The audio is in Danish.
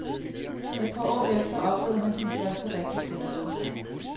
Et par år efter oplevede han sin første rigtige fiasko.